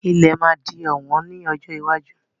Ilẹ̀ máa di ọ̀wọ́n ní ọjọ́ iwájú.